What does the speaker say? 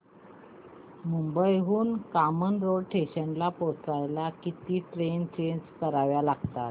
मुंबई हून कामन रोड स्टेशनला पोहचायला किती ट्रेन चेंज कराव्या लागतात